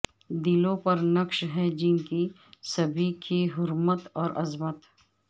دلوں پر نقش ہے جن کی سبھی کے حرمت و عظمت